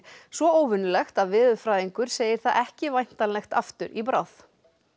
svo óvenjulegt að veðurfræðingur segir það ekki væntanlegt aftur í bráð